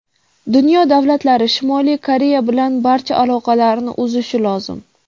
Dunyo davlatlari Shimoliy Koreya bilan barcha aloqalarni uzishi lozim.